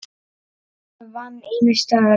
Ólafur vann ýmis störf.